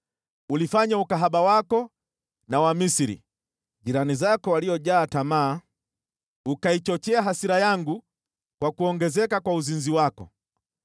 Ulifanya ukahaba wako na Wamisri, jirani zako waliojaa tamaa, ukaichochea hasira yangu kwa kuongezeka kwa uzinzi wako.